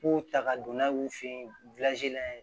K'u ta ka don n'a ye u fe yen